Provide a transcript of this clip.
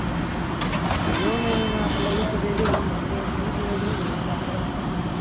अरे बापरे येऊ न येऊ आता लगेच रेडी होऊन घरी जाऊन. लगेच वहिनीला घेऊन येतो आमरस खायला.